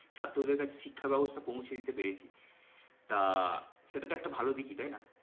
ছাত্রদের কাছে শিক্ষা ব্যবস্থা পৌঁছে দিতে পেরেছি। তা সেটা তো একটা ভালো দিকি তাই না?